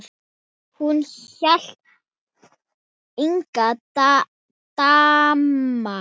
Hún hét Inga Dagmar.